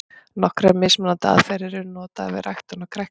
Nokkrar mismunandi aðferðir eru notaðar við ræktun á kræklingi.